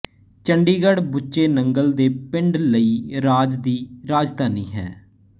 ਚੰਡੀਗੜ੍ਹ ਬੁੱਚੇ ਨੰਗਲ ਦੇ ਪਿੰਡ ਲਈ ਰਾਜ ਦੀ ਰਾਜਧਾਨੀ ਹੈ